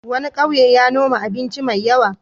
Wani ƙauye ya noma abinci mai yawa.